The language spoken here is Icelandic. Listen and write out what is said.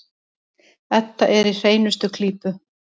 Edda er í hreinustu klípu.